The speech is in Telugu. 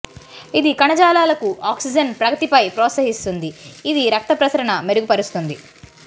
ఇది కణజాలాలకు ఆక్సిజన్ ప్రగతిపై ప్రోత్సహిస్తుంది ఇది రక్త ప్రసరణ మెరుగుపరుస్తుంది